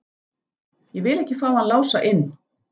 Ég vil ekki fá hann Lása inn.